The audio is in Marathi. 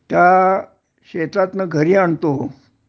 त्या शेतातन घरी आणतो